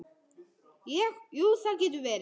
Ég, jú, það getur verið.